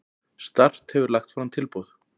Start hefur lagt fram tilboð.